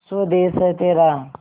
स्वदेस है तेरा